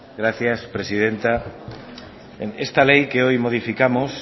gracias presidenta esta ley que hoy modificamos